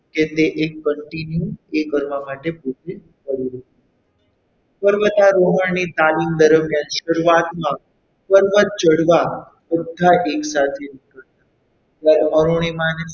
કે તે એ continue એ કરવા માટે તે ઊભી થઈ હતી પર્વતારોહણની તાલીમ દરમિયાન શરૂઆતમાં પર્વત ચઢવા બધા એકસાથે નીકળ્યાં પણ અરુણિમા ને,